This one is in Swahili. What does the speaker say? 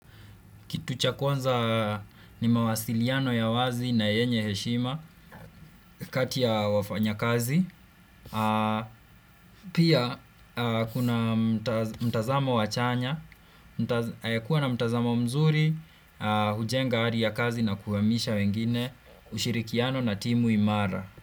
Kitu cha kwanza ni mawasiliano ya wazi na yenye heshima kati ya wafanya kazi. Pia kuna mtazamo wa chanya. Kuwa na mtazamo mzuri, hujenga hali ya kazi na kuhamisha wengine, ushirikiano na timu imara.